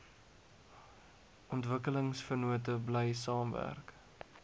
ontwikkelingsvennote bly saamwerk